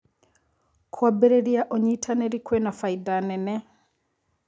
Kũambĩrĩrĩa ũnyĩtanĩrĩ kwĩna baĩda nene